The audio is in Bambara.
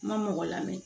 N ma mɔgɔ lamɛn